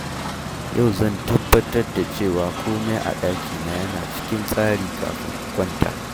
Yau zan tabbatar da cewa komai a ɗakina yana cikin tsari kafin in kwanta